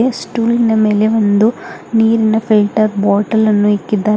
ಮತ್ತೆ ಸ್ಟೋಲ್ನ ಮೇಲೆ ಒಂದು ನೀರಿನ ಫಿಲ್ಟರ್ ಬಾಟಲನ್ನು ಇಕ್ಕಿದ್ದಾರೆ.